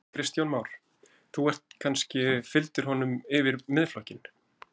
Kristján Már: Þú ert kannski, fylgdir honum yfir Miðflokkinn?